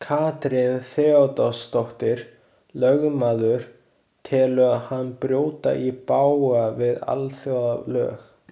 Katrín Theodórsdóttir, lögmaður, telur hann brjóta í bága við alþjóðalög.